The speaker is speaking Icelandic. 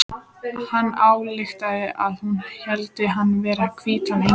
Hann ályktaði að hún héldi hann vera hvítan engil.